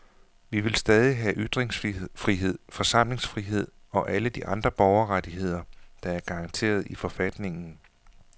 Vi vil stadig have ytringsfrihed, forsamlingsfrihed og alle de andre borgerrettigheder, der er garanteret i forfatningen.